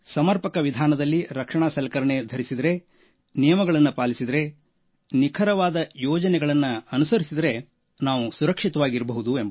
ಸಮರ್ಪಕವಾಗಿ ರಕ್ಷಣಾ ಸಲಕರಣೆ ಧರಿಸಿದರೆ ನಿಯಮಗಳು ನಿಖರವಾದ ಯೋಜನೆಯನ್ನು ಪರಿಪಾಲಿಸಿದರೆ ನಾವೂ ಸುರಕ್ಷಿತವಾಗಿ ಇರಬಹುದು